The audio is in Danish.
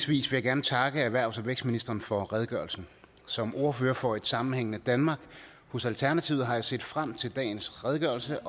vil jeg gerne takke erhvervs og vækstministeren for redegørelsen som ordfører for et sammenhængende danmark hos alternativet har jeg set frem til dagens redegørelse